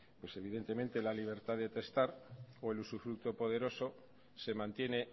pues evidentemente la libertad de testar o el usufructo poderosos se mantiene